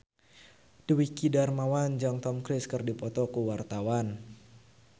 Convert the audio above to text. Dwiki Darmawan jeung Tom Cruise keur dipoto ku wartawan